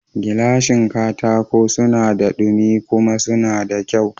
Gilashin katako suna da dumi kuma suna da kyau